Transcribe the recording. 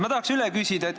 Ma tahan üle küsida.